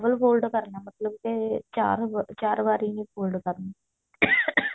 fold ਕਰਨਾ ਮਤਲਬ ਕੇ ਚਾਰ ਵਾਰੀ ਚਾਰ ਵਾਰੀ ਨੀ fold ਕਰਨਾ